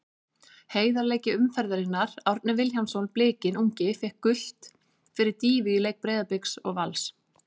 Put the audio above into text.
Heiðarleiki umferðarinnar: Árni Vilhjálmsson Blikinn ungi fékk gult fyrir dýfu í leik Breiðabliks og Vals.